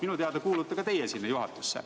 Minu teada kuulute ka teie juhatusse.